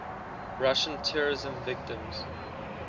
russian terrorism victims